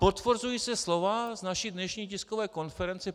Potvrzují se slova z naší dnešní tiskové konference.